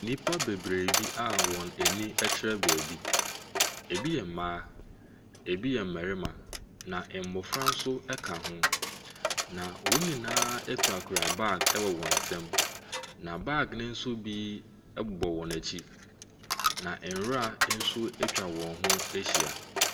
Nnipa bebree bi a wɔn ani kyerɛ baabi, ɛbi yɛ mma, ɛbi yɛ mmarima, na mmɔfra nso ka ho, na wɔn nyinaa kurakura bag wɔ wɔn nsam, na bag no nso bi bobɔ wɔn akyi, na nwira nso atwa wɔn ho ahia.